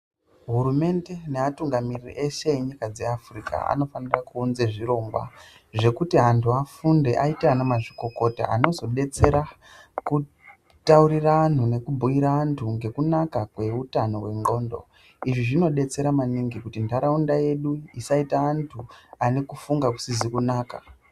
Hurumende nevatungamiriri vese venyika dzeafrica vanofana kuunza zvirongwa ,zvekuti antu afunde aite ana mazvikokota anozodetsera kutaurira antu ,nekubhuira Antu nekunaka kwehutano hwengondlo izvi zvinodetsera maningi kuti ndaraunda yedu isaita antu ane kufunga kusizi kunaka.